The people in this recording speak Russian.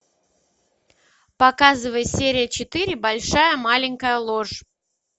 показывай серия четыре большая маленькая ложь